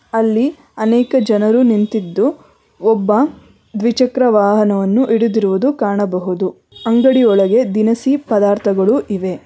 ಅಲ್ಲಿ ಅನೇಕ ಜನರು ನಿಂತಿದ್ದು ಒಬ್ಬ ದ್ವಿಚಕ್ರ ವಾಹನವನ್ನು ಹಿಡಿದಿರುವುದು ಕಾಣಬಹುದು ಅಂಗಡಿ ಒಳಗೆ ದಿನಸಿ ಪದಾರ್ಥಗಳು ಇವೆ.